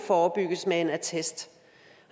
forebygget med en attest